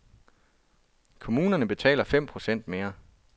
Kommuner betaler fem procent mere.